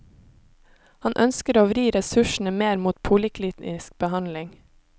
Han ønsker å vri ressursene mer mot poliklinisk behandling.